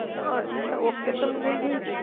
હ અછા ઓકે સમજઈગ્યુ.